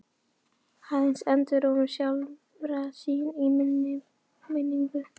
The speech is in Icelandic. Aðeins endurómur sjálfra sín í minni minningu.